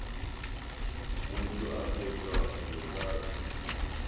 motho a kgethwa go tlatša